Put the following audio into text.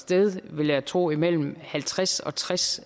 sted vil jeg tro imellem halvtreds og tres